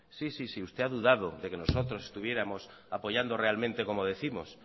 sí sí sí usted ha dudado de que nosotros estuviéramos apoyando realmente como décimos